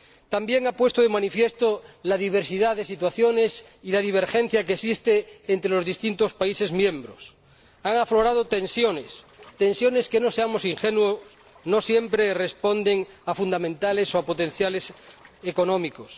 También ha puesto de manifiesto la diversidad de situaciones y la divergencia que existen entre los distintos países miembros. Han aflorado tensiones, tensiones que —no seamos ingenuos— no siempre responden a fundamentales o a potenciales económicos.